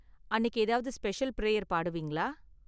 அன்னிக்கு ஏதாவது special prayer பாடுவீங்களா?